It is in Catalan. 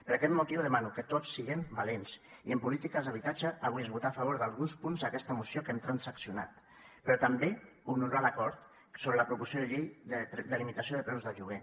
per aquest motiu demano que tots siguem valents i amb polítiques d’habitatge avui és votar a favor d’alguns punts aquesta moció que hem transaccionat però també honorar l’acord sobre la proposició de llei de limitació de preus del lloguer